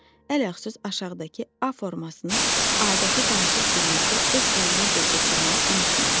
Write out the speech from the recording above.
Əl-əxsus aşağıdakı A formasını adəti danışıq dilinizdə öz əlinizlə köçürməyi unutmayın.